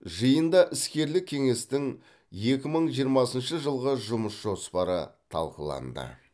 жиында іскерлік кеңестің екі мың жиырмасыншы жылғы жұмыс жоспары талқыланды